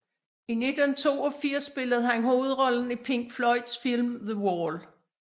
I 1982 spillede han hovedrollen i Pink Floyds film The Wall